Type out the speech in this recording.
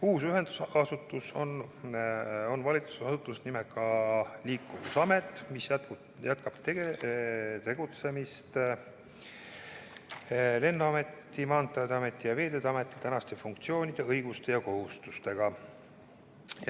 Uus ühendasutus on valitsusasutus nimega Liikuvusamet, mis täidab praegusi Lennuameti, Maanteeameti ja Veeteede Ameti funktsioone, õigusi ja kohustusi.